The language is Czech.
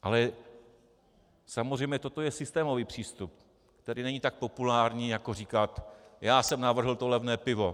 Ale samozřejmě toto je systémový přístup, který není tak populární, jako říkat: Já jsem navrhl to levné pivo.